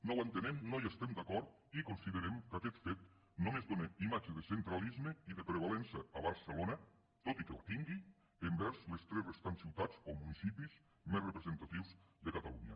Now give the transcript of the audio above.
no ho entenem no hi estem d’acord i considerem que aquest fet només dóna imatge de centralisme i de prevalença a barcelona tot i que la tingui envers les tres restants ciutats o municipis més representatius de catalunya